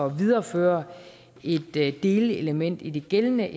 at videreføre et delelement i de gældende